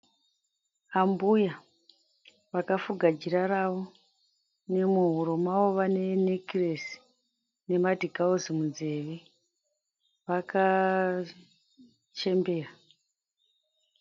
Ambuya vakafuga jira ravo, muhuro mavo vanenekiresi nemadhikausi munzeve, vakachembera.